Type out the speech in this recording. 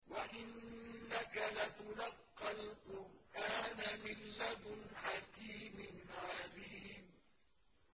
وَإِنَّكَ لَتُلَقَّى الْقُرْآنَ مِن لَّدُنْ حَكِيمٍ عَلِيمٍ